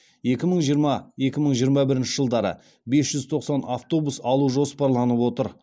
екі мың жиырма екі мың жиырма бірінші жылдары бес жүз тоқсан автобус алу жоспарланып отыр